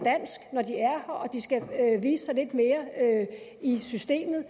og at de skal vise sig lidt mere i systemet